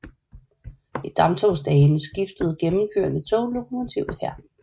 I damptogsdagene skiftede gennemkørende tog lokomotiv her